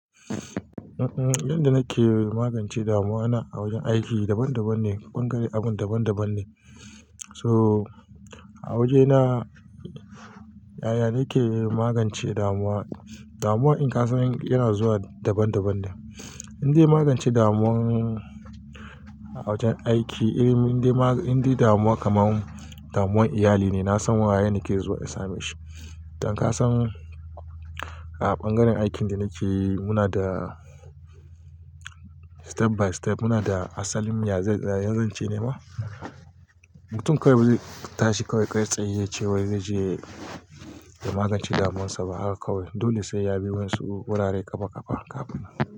Um um, inda nake magance damuwa na a wajen aiki daban daban ne, bangare abun daban daban ne. To a wajena, yaya nake magance damuwa? Damuwa in ka san yana zuwa daban daban ne. Indai magance damuwa a wajen aiki, eh inda damuwa kaman damuwan iyali ne, nasan waye nake zuwa in same shi. Dan ka san a bangaren aikin da nake yi, muna da step by step, muna da asalin yanzan ce ne ma. Mutum kawai ba zai tashi kaiwai kai tsaye yace wai zai je ya magance damunsa ba haka kawai. Dole sai ya bi wayan su wurare ƙafa ƙafa kafinnan.